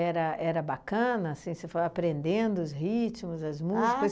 era bacana, assim, você foi aprendendo os ritmos, as músicas?